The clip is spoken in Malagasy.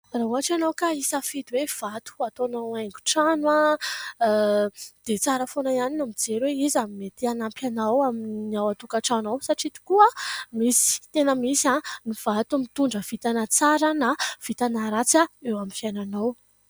Raha ohatra ianao ka hisafidy hoe vato ho ataonao haingo-trano, dia tsara foana ihany ny mijery hoe iza ny mety hanampy anao amin'ny ao an-tokantrano ao, satria tokoa misy tena misy ny vato mitondra vintana tsara na vintana ratsy eo amin'ny fiainanao.